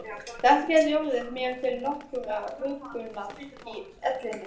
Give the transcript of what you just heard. Þetta gæti orðið mér til nokkurrar huggunar í ellinni!